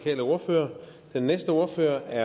der